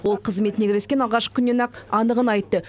ол қызметіне кіріскен алғашқы күннен ақ анығын айтты